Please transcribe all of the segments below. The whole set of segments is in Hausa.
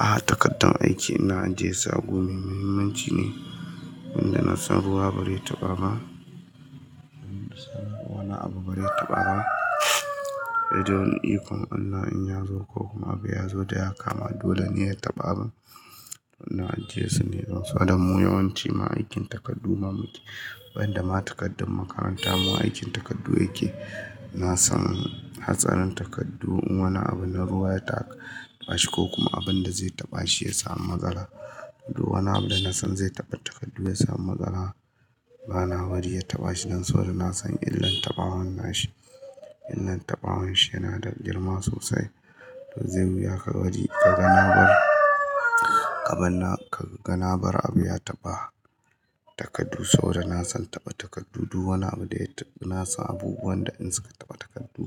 Aha takaddar aiki ina ajiye su a gu mai muhimmanci ne wanda na san ruwa ba zai taɓa ba. Wani abu ba zai taɓa ba. Sai dai wani ikon Allah in ya zo ko kuma abu ya zo da yawa kama dole ne ya taɓa. Ina ajiyesu ne don saboda mu yawanci ma'aikin takardu ma muke. Wanda ma takaddar makaranta mu aikin takardu yake. Na san hatsarin takardu in wani abu na ruwa ya taɓa shi ko kuma abun da zai taɓa shi ya samu matsala. Wani abu da na san zai taɓa takardu ya samu matsala. Bana bari ya taɓa shi don saboda na san illan taɓawa na shi. Illan taɓawan shi yana da girma sosai. To zai wuya ka bari ka ga na bar abanna ka ga na bar abu ya taɓa takardu saboda na san taɓa takardu. Wani abu da na san abubuwan da in suka taɓa takardu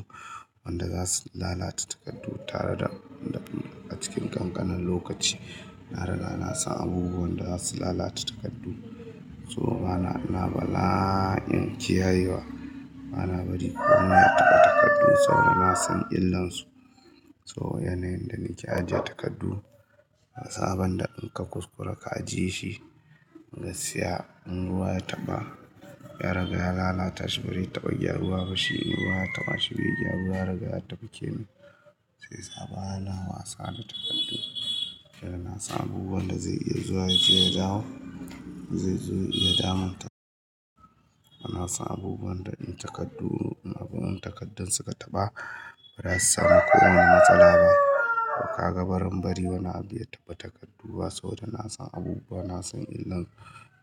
wanda za su lalata takardu tare da dabi'a cikin ƙanƙanan lokaci. Na riga na san abubuwan da za su lalata takardu. So ina bala'in kiyayewa bana bari ko wani ya taɓa takardu saboda na san illansu. So yanayin da nake ajiye takardu na saban da in ka kuskura ka ajiye shi ga skiya in ruwa ya taɓa ya ragaya lalata shi barai taɓa gyar ruwa ba shi in ruwa ya taɓa shi bai ji ruwa ya ragaya taɓa ke ne sai zai saba. Bana wasa da takardu. Yana na san abubuwan da zai iya zuwa ya je ya dawo zai zo ya damu ta. Bana son abubuwan da in takardu abun takardun suka taɓa ba za su sami kowani matsala ba. Ka ga baran bari wani abu ya taɓa takardu ba saboda na san abubuwa na san illan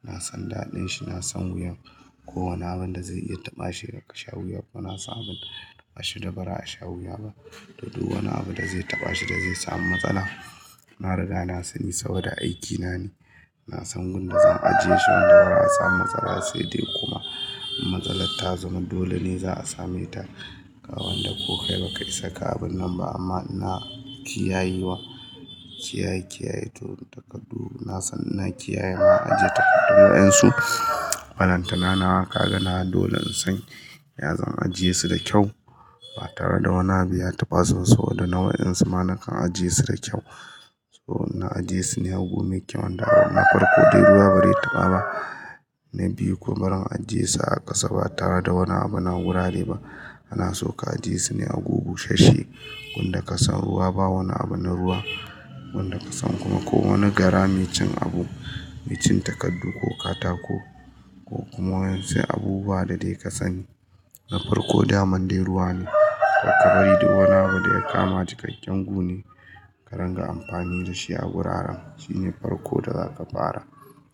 na san daɗin shi na san wuyan kowani abun da zai iya taɓa shi daga sha wuya. Bana san abin taɓa shi dabara a sh awuya ba. To duk wani abu da zai taɓa shi da zai samu matsala. Na riga na sani saboda aikina ne. Na san gun da zan ajie shi wanda ba za a samu matsala sai dai kuma matsalar ta zama dole ne za a same ta. Ga wanda ko kai baka isa ka abun nan ba amma ina kiyayewa. Kiyaye kiyaye to takardu na san ina kiyaye ma'ajiye takardu wayansu. Balantana nawa kaga ka ga nawa dole in san ya zan ajie su da kyau ba tare da wani abu ya taɓa su saboda na wayaransu ma nakan ajiye su da kyau. So na ajie su ne a gu me kyau wanda na farko dai ruwa ba zai taɓa ba. Na biyu kuma baran ajiye su a ƙasa ba tare da wani abu na wurare ba. Ana so ka ajiye su ne a gu bu shesshe wanda ka san ruwa ba wani abu na ruwa wanda ka san kuma ko wani gara mai cin abu. Mai cin takardu ko katako ko kuma wasu abubuwa da dai ka sani. Na farko daman dai ruwa ne. Karka bari duk wani abu da ya kama cikakken guni ka ranga amfani da shi a wuraren shine farko da zaka fara.